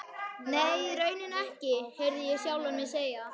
Nei, í rauninni ekki, heyrði ég sjálfan mig segja.